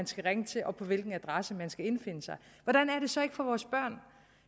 skal ringe til og på hvilken adresse skal indfinde sig hvordan er det så ikke for vores børn